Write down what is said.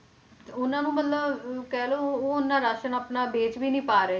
ਤੇ ਉਹਨਾਂ ਨੂੰ ਮਤਲਬ ਅਹ ਕਹਿ ਲਓ ਉਹ ਓਨਾ ਰਾਸ਼ਣ ਆਪਣਾ ਵੇਚ ਵੀ ਨੀ ਪਾ ਰਹੇ,